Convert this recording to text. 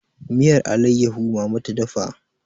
miyar alaiyahu mama ta dafa